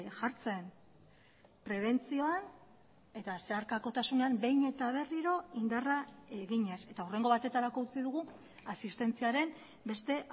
jartzen prebentzioan eta zeharkakotasunean behin eta berriro indarra eginez eta hurrengo batetarako utzi dugu asistentziaren beste